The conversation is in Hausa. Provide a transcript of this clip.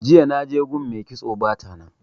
Jiya naje gun mai kitso bata nan.